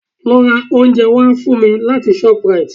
Lọ ra oúnjẹ wá fún mi láti shoprite